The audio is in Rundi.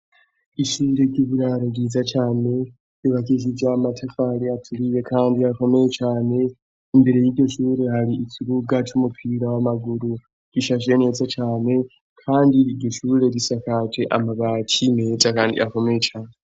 Ishure ry'uburaro ryiza cane, ryubakishije amatafari aturiwe kandi akomeye cane imbere y'iryo shure hari ikibuga c'umupira w'amaguru rishashe neza cane kandi iryo shure risakaje amabati meza kandi akomeye cane.